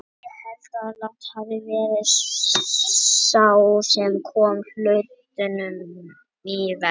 Ég held að Lang hafi verið sá sem kom hlutunum í verk, maðurinn á götunni.